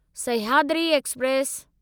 Sahyadri express